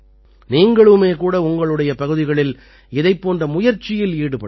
நீங்களுமே கூட உங்களுடைய பகுதிகளில் இதைப் போன்ற முயற்சியில் ஈடுபடலாம்